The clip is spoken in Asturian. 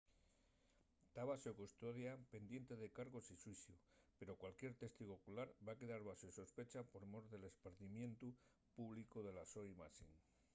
ta baxo custodia pendiente de cargos y xuiciu pero cualesquier testigu ocular va quedar baxo sospecha por mor del espardimientu públicu de la so imaxe